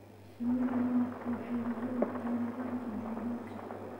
Shinnida malabku waxay muhiim u tahay nidaamka deegaanka.